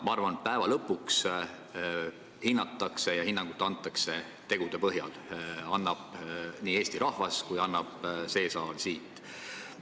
Ma arvan, et lõpuks antakse hinnanguid tegude põhjal – annab nii Eesti rahvas kui see saal siin.